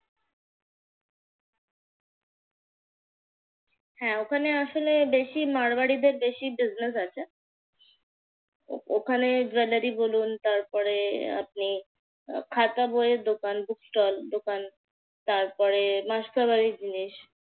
হ্যাঁ ওখানে আসলে বেশি মারওয়ারিদের বেশি business আছে। ওখানে জুয়েলারি বলুন তারপরে আপনি আহ খাতা বইয়ের দোকান bookstall দোকান। তারপর মাসকাবারির জিনিস।